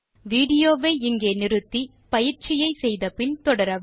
விடியோவை இங்கே நிறுத்தி பயிற்சியை செய்தபின் தொடரவும்